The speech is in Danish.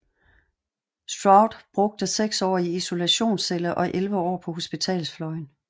Stroud brugte seks år i isolationscelle og 11 år på hospitalsfløjen